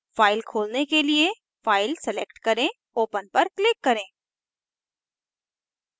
file खोलने के लिए file select करें open पर click करें